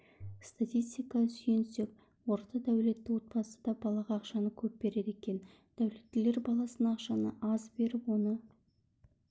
статистикаға сүйенсек орта дәулетті отбасыда балаға ақшаны көп береді екен дәулеттілер баласына ақшаны аз беріп оны